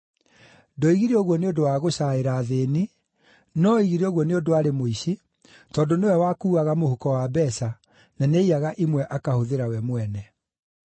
Ndoigire ũguo nĩ ũndũ wa gũcaĩra athĩĩni, no oigire ũguo nĩ ũndũ aarĩ mũici, tondũ nĩwe wakuuaga mũhuko wa mbeeca, na nĩaiyaga imwe akahũthĩra we mwene.